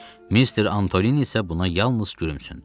Mister Antolini isə buna yalnız gülümsündü.